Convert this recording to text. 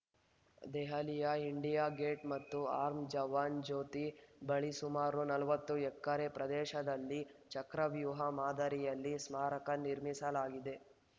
ದೆಹಲಿಯ India gate ಮತ್ತು ಅಮರ್‌ ಜವಾನ್‌ ಜ್ಯೋತಿ ಬಳಿ ಸುಮಾರು ನಲವತ್ತು ಎಕರೆ ಪ್ರದೇಶದಲ್ಲಿ ಚಕ್ರವ್ಯೂಹ ಮಾದರಿಯಲ್ಲಿ ಸ್ಮಾರಕ ನಿರ್ಮಿಸಲಾಗಿದೆ